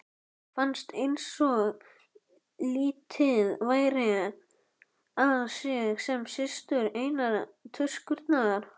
Fannst einsog litið væri á sig sem systur einnar tuskunnar.